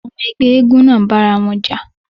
Àwọn ọmọ ẹgbẹ́ eégún náà bá ara wọn jà.